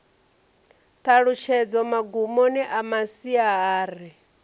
ṱhalutshedzo magumoni a masia ari